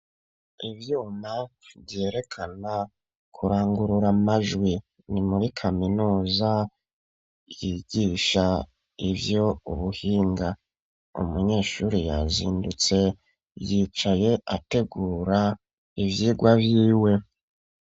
Ivyuma vyerekana kurangurura amajwi, ni muri kaminuza yigisha ivyo ubuhinga. umunyeshure yazindutse yicaye ategura ivyigwa vyiwe.